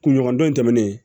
Kunɲɔgɔn don in tɛmɛnen